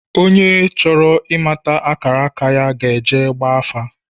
Onye chọrọ ị̣mata akara aka ya ga-ejee gbaa afa